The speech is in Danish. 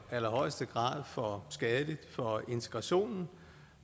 allerhøjeste grad for skadeligt for integrationen